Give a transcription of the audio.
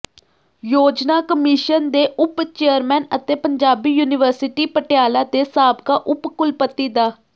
ਯੋਜਨਾ ਕਮਿਸ਼ਨ ਦੇ ਉਪ ਚੇਅਰਮੈਨ ਅਤੇ ਪੰਜਾਬੀ ਯੂਨੀਵਰਸਿਟੀ ਪਟਿਆਲਾ ਦੇ ਸਾਬਕਾ ਉਪ ਕੁਲਪਤੀ ਡਾ